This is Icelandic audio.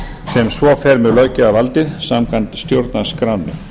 sem svo fer með löggjafarvaldið samkvæmt stjórnarskránni